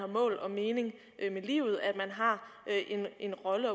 mål og mening med livet at man har en rolle